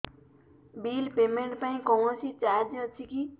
bill payment ପାଇଁ କୌଣସି charge ଅଛି କି